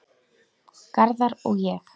Garðar og ég